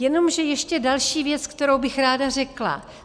Jenomže ještě další věc, kterou bych ráda řekla.